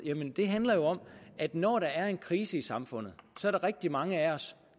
handler jo om at når der er en krise i samfundet er der rigtig mange af os